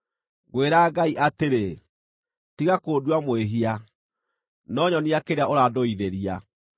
Ngwĩra Ngai atĩrĩ: Tiga kũndua mwĩhia, no nyonia kĩrĩa ũrandũithĩria.